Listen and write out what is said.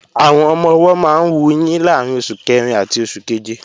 Àwọn ọmọ-ọwọ́ máa ń wuyín láàrín oṣù kẹrin àti oṣù keje